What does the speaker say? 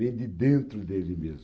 Vem de dentro dele mesmo.